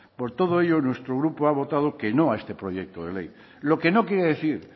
por todo ello nuestro grupo ha votado que no a este proyecto de ley lo que no quiere decir